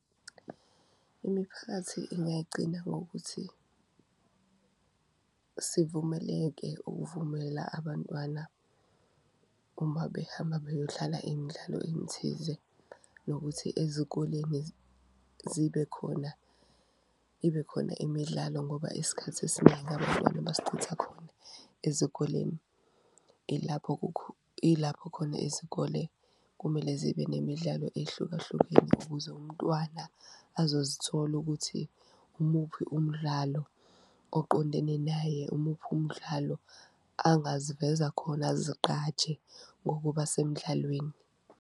Imiphakathi ingayigcina ngokuthi sivumeleke ukuvumela abantwana uma behamba beyodlala imidlalo emithize nokuthi ezikoleni zibe, ibe khona imidlalo, ngoba isikhathi esiningi abantwana basichitha khona ezikoleni. Ilapho, ilapho khona izikole kumele zibe nemidlalo ehlukahlukene ukuze umntwana azozithola ukuthi umuphi umdlalo oqondene naye, umuphi umdlalo angaziveza khona uzigqaje ngokuba semdlalweni.